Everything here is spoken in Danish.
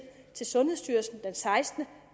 til sundhedsstyrelsen den sekstende